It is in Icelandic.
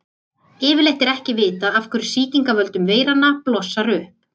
Yfirleitt er ekki vitað af hverju sýking af völdum veiranna blossar upp.